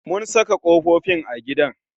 Mun saka kofofin a gidan